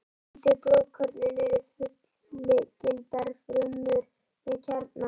Hvítu blóðkornin eru fullgildar frumur með kjarna.